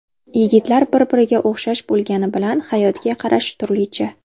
Yigitlar bir-biriga o‘xshash bo‘lgani bilan, hayotga qarashi turlicha.